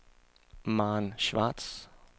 Maren Schwartz